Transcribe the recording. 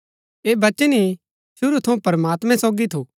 ऐह वचन ही शुरू थऊँ प्रमात्मैं सोगी थू